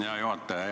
Hea juhataja!